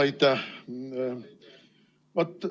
Aitäh!